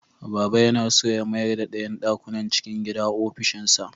Baba yana so ya mayarda ɗayan ɗakunan cikin gida ofishinsa.